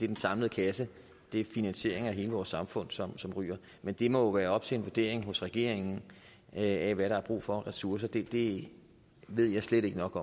den samlede kasse det er finansieringen af hele vores samfund som som ryger men det må være op til en vurdering hos regeringen af hvad der er brug for af ressourcer det det ved jeg slet ikke nok